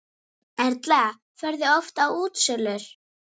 Erla: Ferðu oft á útsölur?